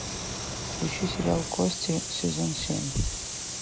включи сериал кости сезон семь